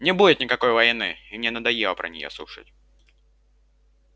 не будет никакой войны и мне надоело про неё слушать